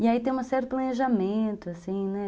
E aí tem um certo planejamento, assim, né?